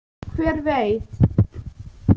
Hver veit!